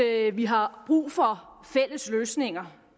at vi har brug for fælles løsninger